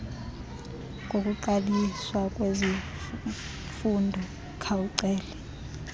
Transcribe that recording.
kokuqaliswa kwezifundo khawucele